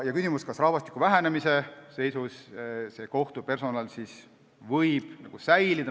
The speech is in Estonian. On küsimus, kas rahvastiku vähenemisest hoolimata võib kohtupersonal senisel kujul säilida.